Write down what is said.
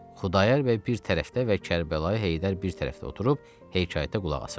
Xudayar bəy bir tərəfdə və Kərbəlayi Heydər bir tərəfdə oturub hekayətə qulaq asırdılar.